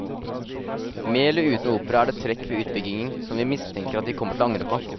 Med eller uten opera er det trekk ved utbyggingen som vi mistenker at de kommer til å angre på.